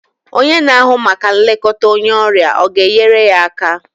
Onye na-ahụ maka nlekọta onye ọrịa ọ ga-enyere ya aka?